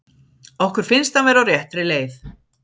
Okkur finnst hann vera á réttri leið.